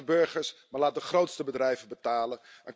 Laat niet de burgers, maar de grootste bedrijven betalen.